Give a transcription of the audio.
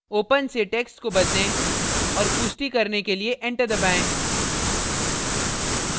open से text को बदलें और पुष्टी करने के लिए enter दबाएँ